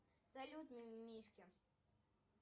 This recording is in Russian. салют мимимишки